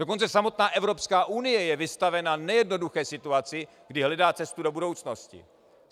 Dokonce samotná Evropská unie je vystavena nejednoduché situaci, kdy hledá cestu do budoucnosti.